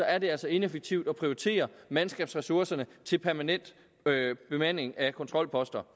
er det altså ineffektivt at prioritere mandskabsressourcerne til permanent bemanding af kontrolposter